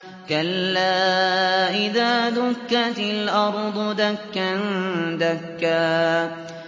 كَلَّا إِذَا دُكَّتِ الْأَرْضُ دَكًّا دَكًّا